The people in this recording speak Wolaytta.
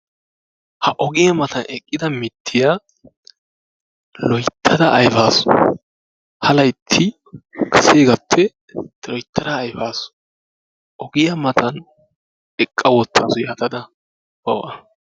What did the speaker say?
Ha ogiyaa matan eqqida mittiya loyttada ayfaasu, ha laytti kaseegaappe loyttada ayfaasu, ogiyaa matan eqqa wottaasu yatada bawu a.